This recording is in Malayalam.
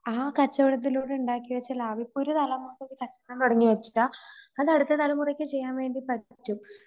ആ കച്ചവടത്തിലൂടുണ്ടാക്കിവെച്ച ലാഭം ഇപ്പം ഒരുതലമുറ ഒരു കച്ചവടം തുടങ്ങിവെച്ചാ അത് അടുത്ത തലമുറക്ക് ചെയ്യാൻപറ്റും.